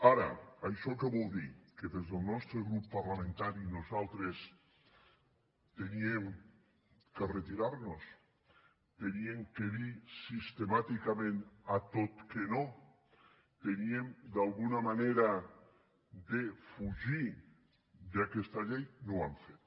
ara això què vol dir que des del nostre grup parlamentari nosaltres havíem de retirar nos havíem de dir sistemàticament a tot que no havíem d’alguna manera de fugir d’aquesta llei no ho hem fet